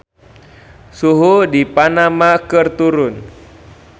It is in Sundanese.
Suhu di Panama keur turun